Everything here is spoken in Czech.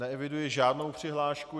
Neeviduji žádnou přihlášku.